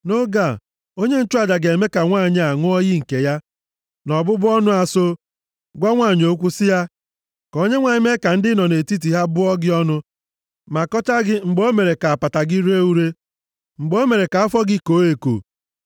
(nʼoge a, onye nchụaja ga-eme ka nwanyị a ṅụọ iyi nke ya na ọbụbụ ọnụ a so, gwa nwanyị okwu sị ya) “ka Onyenwe anyị mee ka ndị ị nọ nʼetiti ha bụọ gị ọnụ ma kọchaa gị mgbe o mere ka apata gị ree ure, mgbe o mere ka afọ gị koo eko.